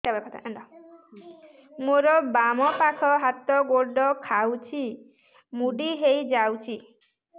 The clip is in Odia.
ମୋର ବାମ ପାଖ ହାତ ଗୋଡ ଖାଁଚୁଛି ମୁଡି ହେଇ ଯାଉଛି